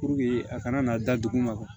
Puruke a kana na da dugu ma